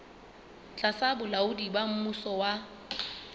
tlasa bolaodi ba mmuso wa